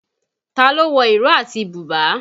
Ta ló wọ ìró àti bùbá?